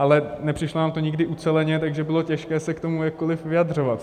Ale nepřišlo nám to nikdy uceleně, takže bylo těžké se k tomu jakkoliv vyjadřovat.